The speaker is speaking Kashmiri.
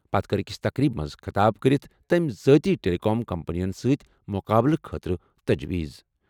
پتہٕ کٔر أکِس تقریٖبہِ منٛز خطاب کٔرِتھ تٔمۍ ذٲتی ٹیلی کام کمپنیَن سۭتۍ مُقابلہٕ خٲطرٕ تجویٖز۔